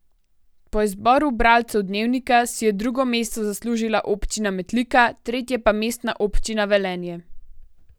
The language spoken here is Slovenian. Po izboru bralcev Dnevnika si je drugo mesto zaslužila občina Metlika, tretje pa Mestna občina Velenje.